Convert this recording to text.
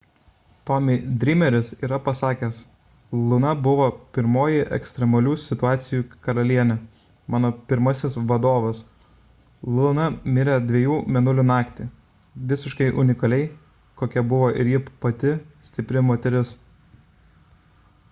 tommy dreameris yra pasakęs luna buvo pirmoji ekstremalių situacijų karalienė mano pirmasis vadovas luna mirė dviejų mėnulių naktį visiškai unikaliai kokia buvo ir ji pati stipri moteris